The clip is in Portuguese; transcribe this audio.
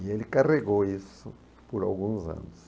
E ele carregou isso por alguns anos.